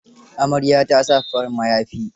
Amaryar ta sa farin mayafi.